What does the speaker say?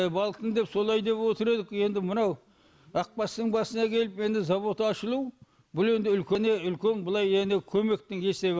балықтың деп солай деп отыр едік енді мынау ақбастың басына келіп енді зауыт ашылу бұл енді үлкен үлкен былай енді көмектің есебі